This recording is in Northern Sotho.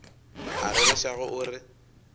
a rereša ge o re